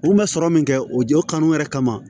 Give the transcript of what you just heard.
U kun bɛ sɔrɔ min kɛ o jɔ o kanu yɛrɛ kama